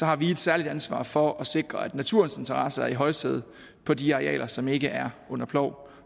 har vi et særligt ansvar for at sikre at naturens interesser er i højsædet på de arealer som ikke er under plov